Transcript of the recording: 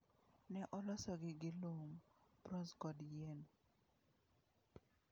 Ne olosogi gi lum, bronze kod yien.